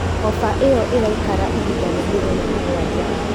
Ofa ĩyo ĩraikara ihinda rĩa mĩthenya mũgwanja.